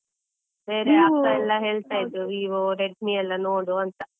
ಅಕ್ಕ ಎಲ್ಲ ಹೇಳ್ತಾ ಇದ್ರು Vivo, Redmi ಎಲ್ಲ ನೋಡು ಅಂತ.